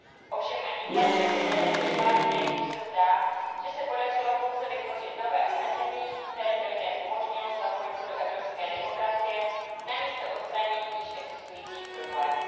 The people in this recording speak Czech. Ovšem ani ta však zde nevyšla, jelikož se zdá, že se podařilo pouze vytvořit nové omezení, které by lidem umožnilo zapojit se do evropské demokracie namísto odstranění již existujících problémů.